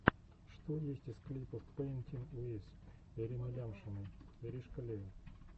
что есть из клипов пэинтин уиз ирины лямшиной иришкалиа